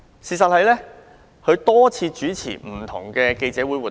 事實上，他曾多次主持不同類型的記者會活動。